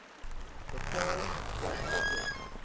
betaal per tjek